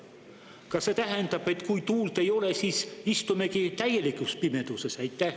Kas see tähendab, et kui tuult ei ole, siis istumegi täielikus pimeduses?